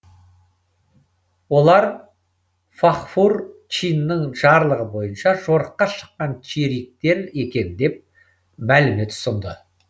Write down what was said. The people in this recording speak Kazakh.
олар фағфур чиннің жарлығы бойынша жорыққа шыққан чериктер екен деп мәлімет ұсынды